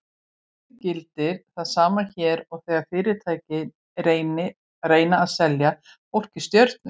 Í raun gildir það sama hér og þegar fyrirtæki reyna að selja fólki stjörnur.